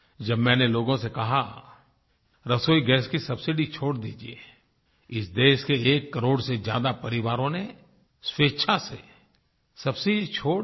जब मैंने लोगों से कहा रसोई गैस की सबसिडी छोड़ दीजिये इस देश के एक करोड़ से ज्यादा परिवारों ने स्वेच्छा से सबसिडी छोड़ दी